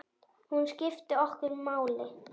Hún skipti okkur máli.